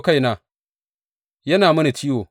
Kaina yana mini ciwo!